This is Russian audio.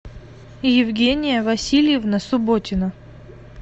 евгения васильевна субботина